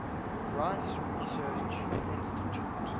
rice research institute